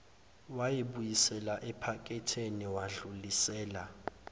wayibuyisela ephaketheni wadlulisela